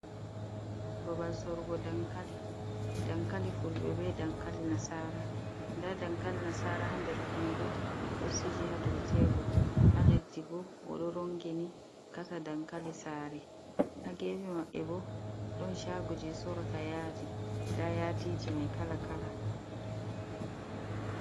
Babal sorugo dankali, dankali fulɓe be dankali nasara nda dankali nasara ha nder kondo nɗo sili ha dou tebor ha leddi bo oɗo rongini kasa dankali sare, ha gefi maɓɓe bo ɗon shagoji sorugo yadi nda yadiji mai kala kala.